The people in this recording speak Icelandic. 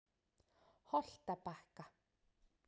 Holtabakka